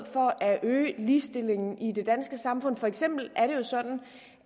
for at øge ligestillingen i det danske samfund for eksempel sådan